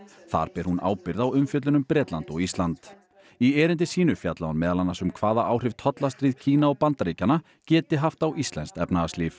þar ber hún ábyrgð á umfjöllun um Bretland og Ísland í erindi sínu fjallaði hún meðal annars um hvaða áhrif Kína og Bandaríkjanna geti haft á íslenskt efnahagslíf